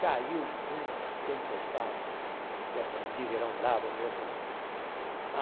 Caiu uma tempestade, dessas de verão bravo mesmo, né?